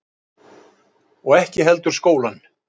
Og ekki heldur skólann.